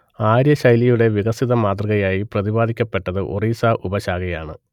ആര്യ ശൈലിയുടെ വികസിത മാതൃകയായി പ്രതിപാദിക്കപ്പെട്ടത് ഒറീസ ഉപശാഖയാണ്